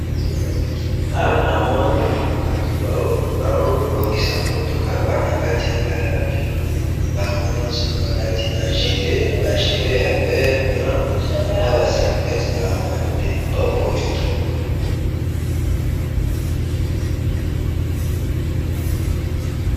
Awa namoni batu bazobongisa mutuka, Baza nakati ya garage, bangonyoso balati ba gilet ya vert blanc, naba salopete ya bleue, bazobongisa mutuka